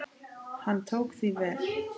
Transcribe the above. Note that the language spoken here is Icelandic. Hann tók því vel.